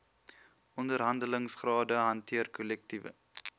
onderhandelingsrade hanteer kollektiewe